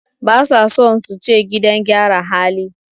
Basa son suce gidan gyara hali